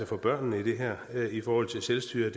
for børnene i det her i forhold til selvstyret